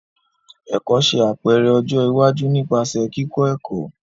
Ẹkọ ṣe apẹrẹ ọjọ iwaju nipasẹ kikọ ẹkọ.